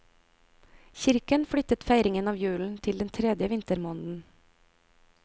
Kirken flyttet feiringen av julen til den tredje vintermåneden.